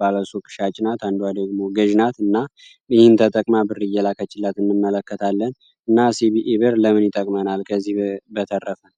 ባለሶ ቅሻጭናት አንዷ ደግሞ ገዥናት እና ይህን ተጠቅማ ብርየላ ከችላት ንመለከታለን እና cቢኢ ብር ለምኒ ጠቅመናል ከዚህ በተረፈን?